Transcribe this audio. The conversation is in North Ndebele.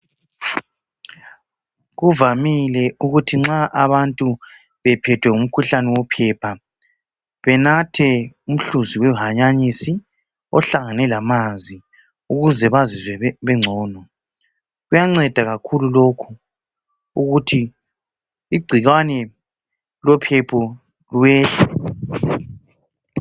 Kuvamile ukuthi nxa abantu bephethwe ngumkhuhlane wophepha benathe umhluzi wehanyanisi ohlangane lamanzi ukuze bazizwe bengcono. Kuyanceda kakhulu lokho ukuthi igcikwane lophepha lehle.